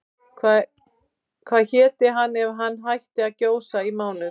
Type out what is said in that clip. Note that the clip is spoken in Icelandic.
Hvað héti hann ef hann hætti að gjósa í mánuð?